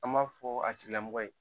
An b'a fɔ a tigilamɔgɔ ye